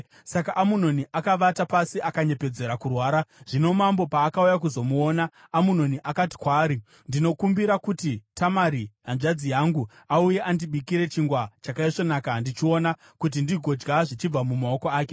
Saka Amunoni akavata pasi akanyepedzera kurwara. Zvino mambo paakauya kuzomuona, Amunoni akati kwaari, “Ndinokumbira kuti Tamari hanzvadzi yangu auye andibikire chingwa chakaisvonaka ndichiona, kuti ndigodya zvichibva mumaoko ake.”